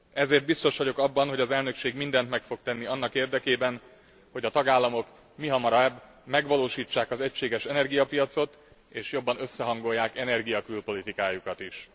Ezért biztos vagyok abban, hogy az elnökség mindent meg fog tenni annak érdekében, hogy a tagállamok mihamarább megvalósítsák az egységes energiapiacot és jobban összehangolják energia külpolitikájukat is.